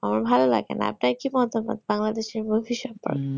আমার ভালো লাগে না তাই কি মন্তব্য বাংলাদেশ এর movie সম্পর্কে